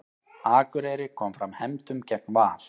Akureyri kom fram hefndum gegn Val